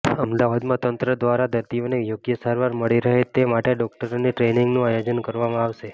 અમદાવાદમાં તંત્ર દ્વારા દર્દીઓને યોગ્ય સારવાર મળી રહે તે માટે ડોકટરોની ટ્રેનિંગનું આયોજન કરવામાં આવશે